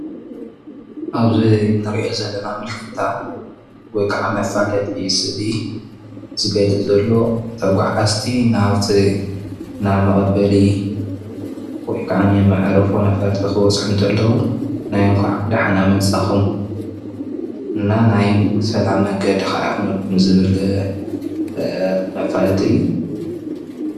አብዚ እንሪኦ ዘለና ምልክታ ወይ ከዓ መፋለጢ ስእሊ ዝገልፅ ዘሎ ተጓዓዓዝቲ ናብቲ ናይ መቐበሊ ወይ ካዓኒ መዕርፎ ነፈርቲ ክበፅሑ ከለው ናይ እንኳዕ ደሓና መፃእኹም እና ናይ ሰላም መንገዲ ከአ ይኹነልኩም ዝብል መፋለጢ እዩ፡፡